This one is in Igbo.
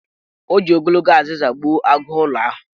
O ji ogologo azịza gbuo agụụlọ ahụ.